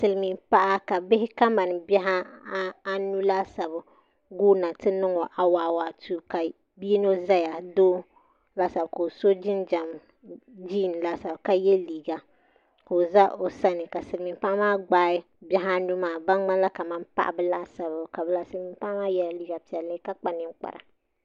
Silmiin paɣa ka bihi kamani bihi anu laasabu guuna ti niŋɔ awaawaatuu ka bia yino ʒɛya doo ka o so jinjɛm jiin laasabu ka yɛ liiga ka o za o sani ka silmiin paɣa maa gbaai bihi anu maa ban ŋmanila kamani paɣaba laasabu silmiin paɣa maa yɛla liiga piɛlli ka kpa ninkpara